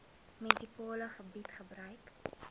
munisipale gebied gebruik